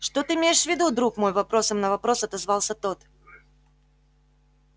что ты имеешь в виду друг мой вопросом на вопрос отозвался тот